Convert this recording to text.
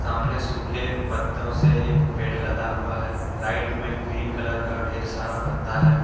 सामने सूखे पत्तो से एक पेड़ लदा हुआ हैं राइट में ग्रीन कलर का ढेर सारा पत्ता है।